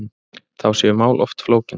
Þá séu mál oft flókin.